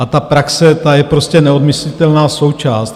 A ta praxe, ta je prostě neodmyslitelná součást.